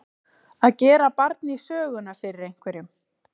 Að gera barn í söguna fyrir einhverjum